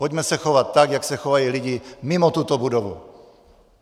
Pojďme se chovat tak, jak se chovají lidi mimo tuto budovu.